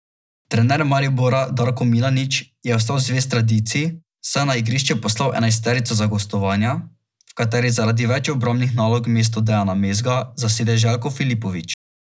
Trener Maribora Darko Milanič je ostal zvest tradiciji, saj je na igrišče poslal enajsterico za gostovanja, v kateri zaradi več obrambnih nalog mesto Dejana Mezga zasede Željko Filipović.